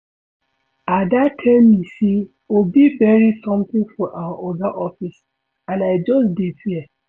Ada tell me say Obi bury something for our Oga office and I just dey fear